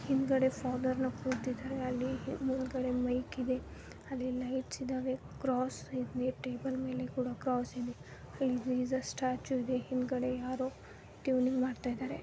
ಹಿಂದ್ಗಡೆ ಫಾದರ್ ನ ಕೂತಿದರೆ ಅಲ್ಲಿ ಮುಂದ್ ಗಡೆ ಮೈಕ್ ಇದೆ ಅಲ್ಲಿ ಲೈಟ್ಸ್ ಇದಾವೆ ಕ್ರಾಸ್ ಇದೆ ಟೇಬಲ್ ಮೇಲೆ ಕೂಡ ಕ್ರಾಸ್ ಇದೆ. ಇಲ್ ಜೀಸಸ್ ಸ್ಟ್ಯಾಚು ಇದೆ ಹಿಂದ್ಗಡೆ ಯಾರೋ ಟ್ಯೂನಿಂಗ್ ಮಾಡ್ತಯಿದಾರೆ.